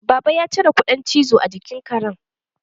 Baba ya cire kuɗan cizo a jikin Karen